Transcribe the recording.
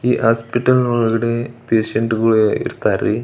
ಈ ಹಾಸ್ಪಿಟಲ್ ನ ಒಳಗಡೆ ಪೇಷಂಟ್ ಗಳು ಇರತ್ತರಿ .